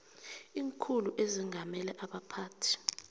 iinkhulu ezengameleko abaphathi